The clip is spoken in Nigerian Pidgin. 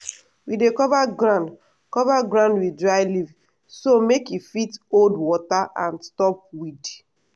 we dey cover ground cover ground with dry leaf so make e fit hold water and stop weed.